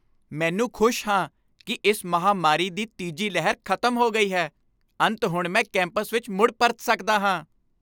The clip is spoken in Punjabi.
ਮੈਨੂੰ ਖੁਸ਼ ਹਾਂ ਕਿ ਇਸ ਮਹਾਂਮਾਰੀ ਦੀ ਤੀਜੀ ਲਹਿਰ ਖ਼ਤਮ ਹੋ ਗਈ ਹੈ। ਅੰਤ ਹੁਣ ਮੈਂ ਕੈਂਪਸ ਵਿੱਚ ਮੁੜ ਪਰਤ ਸਕਦਾ ਹਾਂ।